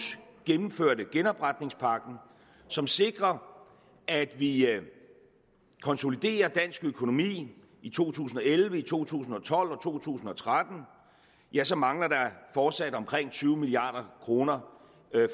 gennemførte genopretningspakken som sikrer at vi at vi konsoliderer dansk økonomi i to tusind og elleve to tusind og tolv og to tusind og tretten ja så mangler der fortsat omkring tyve milliard kroner